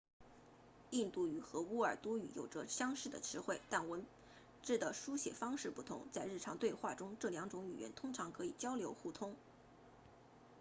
印度语和乌尔都语有着相似的词汇但文字的书写方式不同在日常对话中这两种语言通常可以交流互通